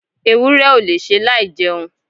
ewúrẹ́ ò lè ṣe láì jẹun